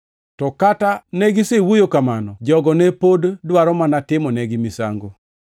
To kata negisewuoyo kamano, jogo ne pod dwaro mana timonegi misango.